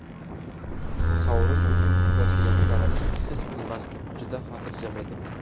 Sovrin uchun kurashayotganimni his qilmasdim, juda xotirjam edim.